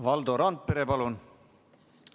Valdo Randpere, palun!